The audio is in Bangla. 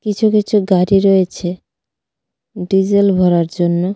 কিছু কিছু গাড়ি রয়েছে ডিজেল ভরার জন্য.